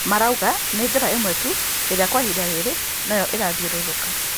Marauga nĩ njĩra imwe tu ĩrĩa Kwa ihinda rĩrĩ nĩyo ĩrathiũrũrũka